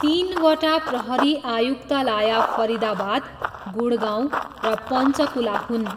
तिनवटा प्रहरी आयुक्तालय फरिदाबाद, गुडगाउँ र पन्चकुला हुन्।